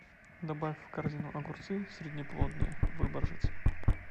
добавь в корзину огурцы среднеплодные выборжец